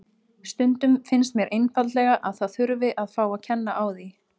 Stundum finnst mér einfaldlega að það þurfi að fá að kenna á því.